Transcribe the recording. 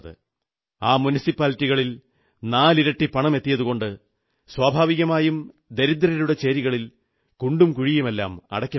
ആ മുനിസിപ്പാലിറ്റികളിൽ നാലിരട്ടി പണമെത്തിയതുകൊണ്ട് സ്വാഭാവികമായും ദരിദ്രരുടെ ചേരികളിൽ കുണ്ടും കുഴിയുമെല്ലാം അടയ്ക്കപ്പെടും